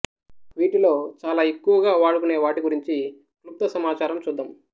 వీటిలో చాలా ఎక్కువగా వాడుకునేవాటి గురించి క్లుప్త సమాచారం చూద్దాం